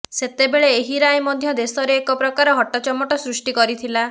ସେତେବେଳେ ଏହି ରାୟ ମଧ୍ୟ ଦେଶରେ ଏକ ପ୍ରକାର ହଟ୍ଟଚମଟ ସୃଷ୍ଟି କରିଥିଲା